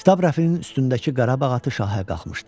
Kitab rəfinin üstündəki Qarabağ atı şahə qalxmışdı.